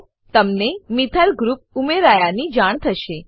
તમને methyl methyl group ઉમેરાયાની જાણ થશે